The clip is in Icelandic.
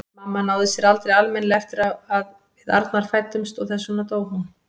Mamma náði sér aldrei almennilega eftir að við Arnar fæddumst og þess vegna dó hún.